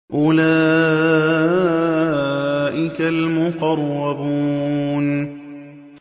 أُولَٰئِكَ الْمُقَرَّبُونَ